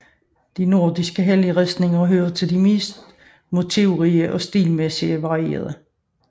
De nordiske helleristninger hører til de mest motivrige og stilmæssigt varierede